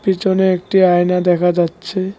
পিছনে একটি আয়না দেখা যাচ্ছে।